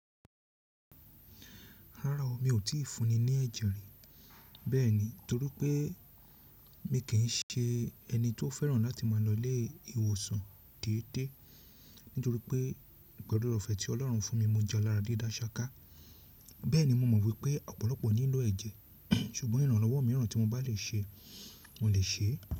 Rárá o, mi ò tí fúnni ní ẹ̀jẹ̀ rí. Bẹ́ẹ̀ni, tori pé mi kì ṣe ẹni tó fẹ́ràn láti máa lọ ilé ìwòsàn déédéé, nítorí pé pẹ̀lú ọ̀re ọ̀fẹ́ tí Ọlọ́run fún mi, mo jẹ́ aláradida saka. Bẹ́ẹ̀ ni, mo mọ̀ wípé ọ̀pọ̀lọpọ̀ nílò ẹ̀jẹ̀, ṣùgbọ́n ìrànlọ́wọ́ mìíràn tí mo bá lè ṣe, mo lè ṣe é.